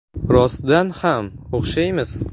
Rostdan ham o‘xshaymiz.